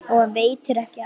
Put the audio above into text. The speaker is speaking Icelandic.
Og veitir ekki af!